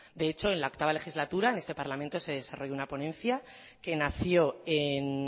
de hecho en la octavo legislatura en este parlamento se desarrolla una ponencia que nació en